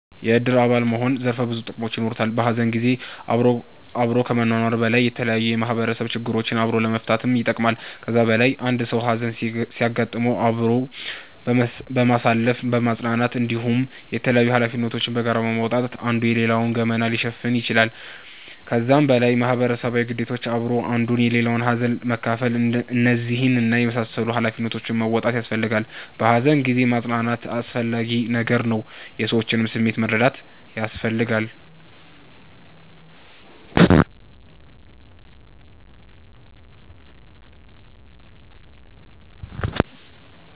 የእድር አባል መሆን ዘርፈ ብዙ ጥቅሞች የኖሩታል። በሀዘን ጊዜ አብሮ ከመኗኗር በላይ የተለያዩ የማህበረሰብ ችግሮችን አብሮ ለመፈታትም ይጠቅማል። ከዛ በላይ አንድ ሰዉ ሀዘን ሲያጋጥመዉ አብሮ በማሳለፍ በማፅናናት እንዲሁም የተላያዩ ሀላፊነቶችን በጋራ በመወጣት አንዱ የሌላዉን ገመና ሊሸፍን ይችላል። ከዛም በላይ ማህበረሰባዊ ግዴታዎች አብሮ አንዱ የሌላዉን ሀዘን መካፍል እነዚህን እና የመሳሰሉትን ሃላፊነቶች መወጣት ያሰፈልጋላ። በሃዘን ጊዜ ማፅናናት አስፈላጊ ነገር ነዉ። የሰዎችንም ስሜት መረዳት ያስፈልጋል